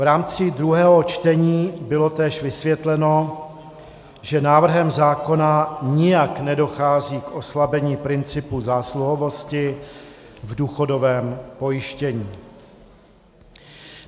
V rámci druhého čtení bylo též vysvětleno, že návrhem zákona nijak nedochází k oslabení principu zásluhovosti v důchodovém pojištění.